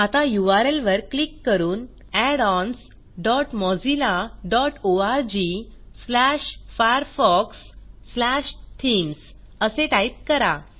आता यूआरएल वर क्लिक करून addons dot Mozilla dot ORG slash Firefox slash themes असे टाईप करा